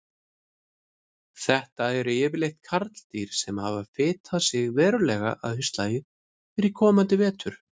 Þetta eru yfirleitt karldýr sem hafa fitað sig verulega að haustlagi fyrir komandi vetur.